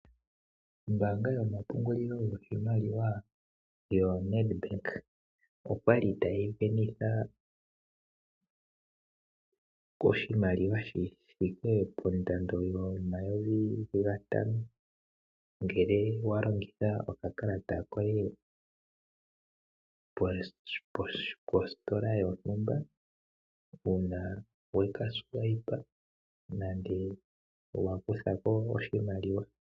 Ombaanga yomapungulilo goshimaliwa yoNedbank, oya li ta yi sindanitha oshimaliwa shithike pondando yomayovi gatano ngele walongitha okakalata koye mositola yontumba uuna wafutu tolongitha okakalata nenge wakuthako oshimaliwa.